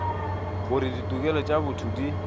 gore ditokelo tša botho di